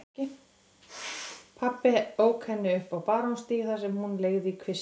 Pabbi ók henni upp á Barónsstíg þar sem hún leigði í kvisti.